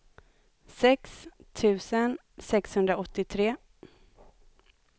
sex tusen sexhundraåttiotre